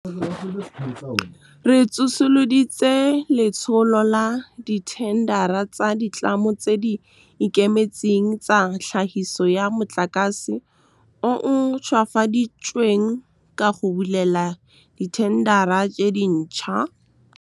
Re tsosoloditse Letsholo la Dithendara tsa Ditlamo tse di Ikemetseng tsa Tlhagiso ya Motlakase o o Ntšhwafaditsweng ka go bulela dithendara tse dintšhwa. Re tsosoloditse Letsholo la Dithendara tsa Ditlamo tse di Ikemetseng tsa Tlhagiso ya Motlakase o o Ntšhwafaditsweng ka go bulela dithendara tse dintšhwa.